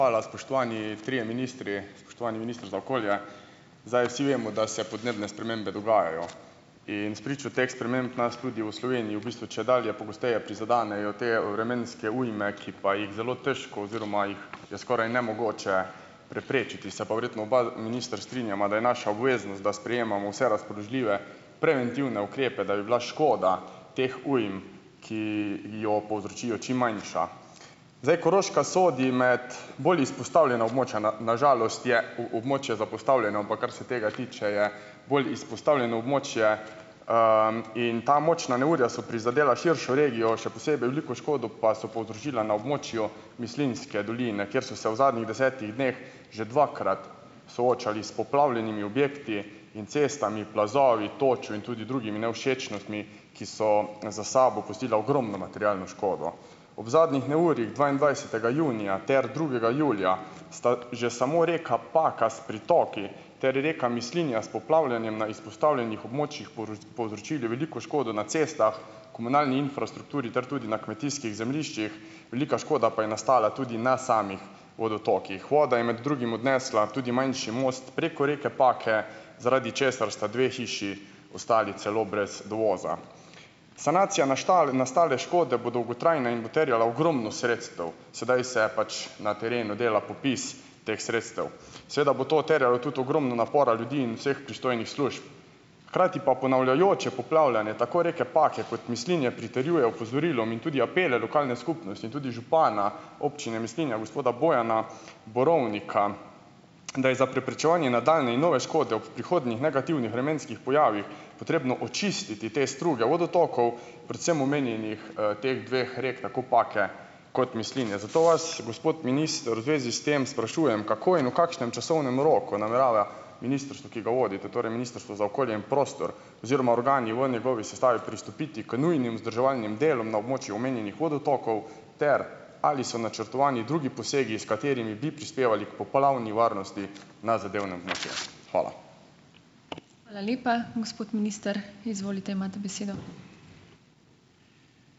spoštovani trije ministri, spoštovani minister za okolje. Zdaj, vsi vemo, da se podnebne spremembe dogajajo in spričo teh sprememb nas tudi v Sloveniji v bistvu čedalje pogosteje prizadenejo te vremenske ujme, ki pa jih zelo težko oziroma jih je skoraj nemogoče preprečiti. Se pa verjetno oba, minister, strinjava, da je naša obveznost, da sprejemamo vse razpoložljive preventivne ukrepe, da bi bila škoda teh ujm, ki jo povzročijo, čim manjša. Zdaj, Koroška sodi med bolj izpostavljena območja. Na na žalost je območje zapostavljeno, ampak ker se tega tiče, je bolj izpostavljeno območje, in ta močna neurja so prizadela širšo regijo, še posebej veliko škodo pa so povzročila na območju Mislinjske doline, kjer so se v zadnjih desetih dneh že dvakrat soočali s poplavljenimi objekti in cestami, plazovi, točo in tudi drugimi nevšečnostmi, ki so za sabo pustili ogromno materialno škodo. Ob zadnjih neurjih dvaindvajsetega junija ter drugega julija sta že samo rekla Paka s pritoki ter reka Mislinja s poplavljanjem na izpostavljenih območjih povzročili veliko škodo na cestah, komunalni infrastrukturi ter tudi na kmetijskih zemljiščih, velika škoda pa je nastala tudi na samih vodotokih. Voda je med drugim odnesla tudi manjši most preko reke Pake, zaradi česar sta dve hiši ostali celo brez dovoza. Sanacija naštale nastale škode bo dolgotrajna in bo terjala ogromno sredstev. Sedaj se pač na terenu dela popis teh sredstev. Seveda bo to terjalo tudi ogromno napora ljudi in vseh pristojnih služb, hkrati pa ponavljajoče poplavljanje tako reke Pake kot Mislinje pritrjuje opozorilom in tudi apelom lokalne skupnosti in tudi župana občine Mislinja, gospoda Bojana Borovnika, da je za preprečevanje nadaljnje in nove škode ob prihodnjih negativnih vremenskih pojavih potrebno očistiti te struge vodotokov, predvsem omenjenih, teh dveh rek, tako Pake kot Mislinje. Zato vas, gospod minister, v zvezi s tem sprašujem, kako in v kakšnem časovnem roku namerava ministrstvo, ki ga vodite, torej Ministrstvo za okolje in prostor oziroma organi v njegovi sestavi, pristopiti k nujnim vzdrževalnim delom na območju omenjenih vodotokov ter ali so načrtovani drugi posegi, s katerimi bi prispevali k poplavni varnosti na zadevnem . Hvala.